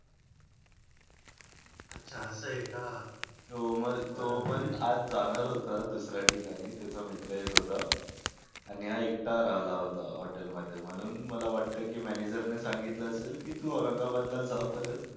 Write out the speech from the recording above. अच्छा असं आहे का? मग जो पण आज जाणार होता. दुसरा ठिकाणी त्याचा मित्र येत होत आणि हा एकटा राहिला होता. होटल मध्ये म्हणून मला वाटतं की मॅनेजरने सांगितलं असेल की तू औरंगाबादला जा परत.